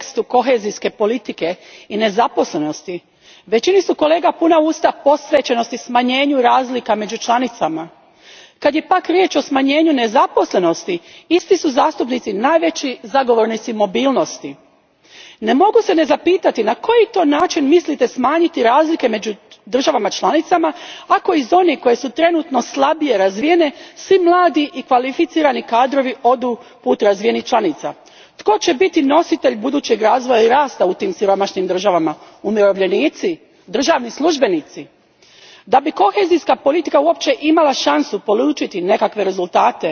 Gospodine predsjedniče, kad govorimo o nejednakoj razvijenosti država članica u kontekstu kohezijske politike i nezaposlenosti, većini su kolega puna usta posvećenosti smanjenju razlika među članicama. Kad je pak riječ o smanjenju nezaposlenosti, isti su zastupnici najveći zagovornici mobilnosti. Ne mogu se ne zapitati na koji to način mislite smanjiti razlike među članicama ako iz onih koje su trenutno slabije razvijene svi mladi i kvalificirani kadrovi odu put razvijenijih članica. Tko će biti nositelj budućeg razvoja i rasta u tim siromašnijim državama? Umirovljenici? Državni službenici? Da bi kohezijska politika uopće imala šansu polučiti nekakve rezultate,